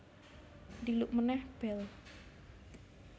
Dhiluk meneh bel